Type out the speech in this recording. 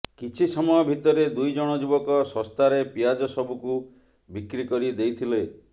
କିଛି ସମୟ ଭିତରେ ଦୁଇଜଣ ଯୁବକ ଶସ୍ତାରେ ପିଆଜ ସବୁକୁ ବିକ୍ରି କରି ଦେଇଥିଲେ